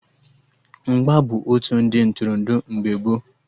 Mgba bụ otu ụdị Ntụrụndụ mgbe gboo